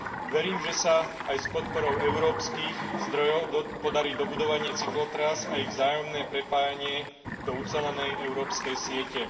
Verím, že sa aj s podporou európskych zdrojov podarí dobudovanie cyklotrás a ich vzájomné prepájanie do ucelenej európskej siete.